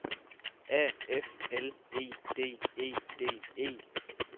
A F L E D E D E